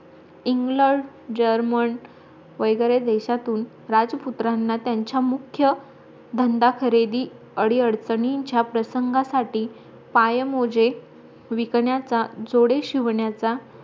वैगेरे देशातून राजपुत्रांना त्यांच्या मुख्य धंदा खरीदि आदी अडचणींचा प्रसंगासाठी पायमोजे विकण्याचा जोडे शिवण्याचा